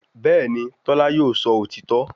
Bẹ́ẹ̀ni, Tọ́lá yóò sọ òtítọ́